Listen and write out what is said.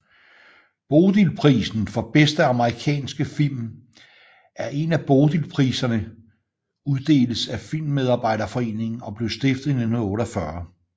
Bodilprisen for bedste amerikanske film er en af Bodilpriserne uddeles af Filmmedarbejderforeningen og blev stiftet i 1948